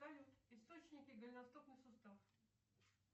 салют источники голеностопный сустав